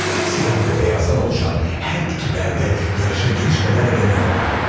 Siyah və beyazdan oluşan hər iki bəndə yarışa girişmədən edə bilmirdi.